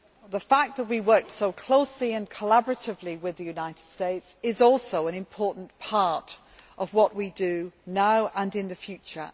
The fact that we worked so closely and collaboratively with the United States is also an important part of what we do now and in the future.